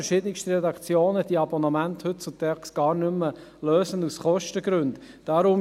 Heutzutage lösen verschiedenste Redaktionen diese Abonnemente aus Kostengründen gar nicht mehr.